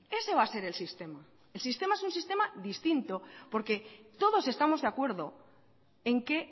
ese va a ser el sistema el sistema es un sistema distinto porque todos estamos de acuerdo en que